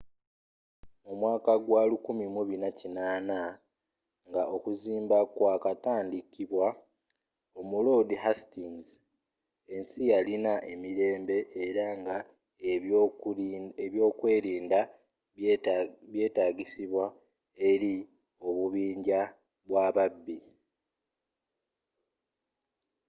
mu mwaka gwa 1480 nga okuzimba kwakatandikibwa omuloodi hastings ensi yalina emirembe era nga ebyokwerinda byetangisibwa eri obubinja bwababbi